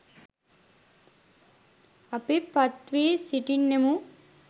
අපි පත්වී සිටින්නෙමු